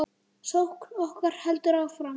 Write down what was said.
Sókn okkar heldur áfram.